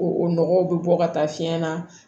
O nɔgɔw bɛ bɔ ka taa fiɲɛ na